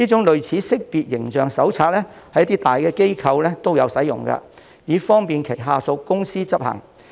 類似的識別形象手冊在一些大機構內亦有使用，以方便轄下公司執行。